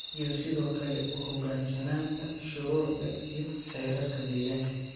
iyo sidoo kale u hoggaansanaanta shuruucda iyo xeerarka deegaanka.